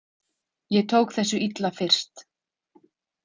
Ég tók þessu illa fyrst.